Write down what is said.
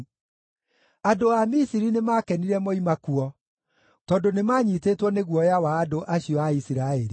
Andũ a Misiri nĩmakenire moima kuo, tondũ nĩmanyiitĩtwo nĩ guoya wa andũ acio a Isiraeli.